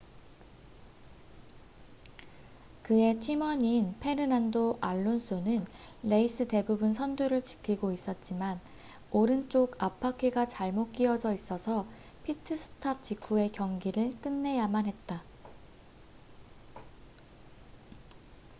그의 팀원인 페르난도 알론소는 레이스 대부분 선두를 지키고 있었지만 오른쪽 앞바퀴가 잘못 끼어져있어서 피트 스탑 직후에 경기를 끝내야만 했다